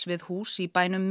við hús í bænum